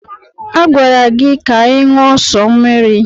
A gwara gị na gị ṅụọ sọ mmiri.